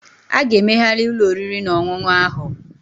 A ga-emegharị ụlọ oriri na ọṅụṅụ ahụ